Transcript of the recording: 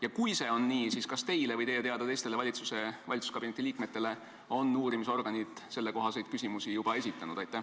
Ja kui see on nii, siis kas teile või teie teada teistele valitsuskabineti liikmetele on uurimisorganid sellekohaseid küsimusi juba esitanud?